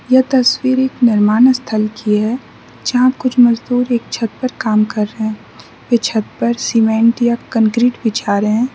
यह तस्वीर एक निर्माण स्थल की है जहाँ कुछ मजदूर एक छत पर काम कर रहे हैं वे छत पर सीमेंट या कंकरीट बिछा रहे हैं।